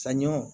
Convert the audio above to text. Saɲɔ